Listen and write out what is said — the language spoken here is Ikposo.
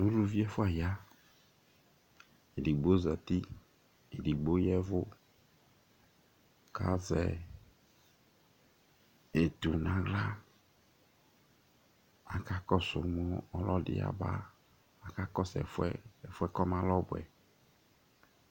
Ʋlʋvi ɛfʋa ya Ɛdigbo zɛti, ɛdigbo yavʋ kʋ azɛ etu nʋ aɣla kʋ akakɔsu mʋ ɔlɔdi yabaa ? Akakɔsu ɛfʋɛ kʋ ɔmalɛ ɔbʋɛ